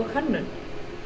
hönnun